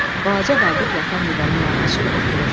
Balaca Vaqif yatan divana yanaşır, oturur.